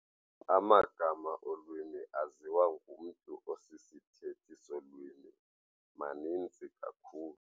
Amagama olwimi aziwa ngumntu osisithethi solwimi maninzi kakhulu.